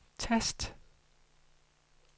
tast